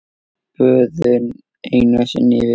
Böðun einu sinni í viku!